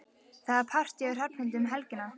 Það er partí hjá Hrafnhildi um helgina.